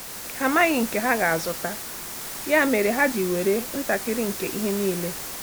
Ha amaghị nke ha ga-azụta, ya mere ha ji nwere ntakịrị nke ihe niile.